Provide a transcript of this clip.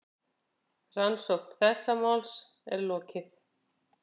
Rannsókn þessa máls er lokið.